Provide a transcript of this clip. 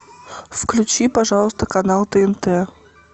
включи пожалуйста канал тнт